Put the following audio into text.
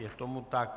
Je tomu tak.